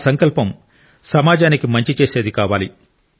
ఆ సంకల్పం సమాజానికి మంచి చేసేది కావాలి